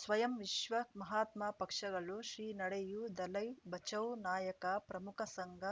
ಸ್ವಯಂ ವಿಶ್ವ ಮಹಾತ್ಮ ಪಕ್ಷಗಳು ಶ್ರೀ ನಡೆಯೂ ದಲೈ ಬಚೌ ನಾಯಕ ಪ್ರಮುಖ ಸಂಘ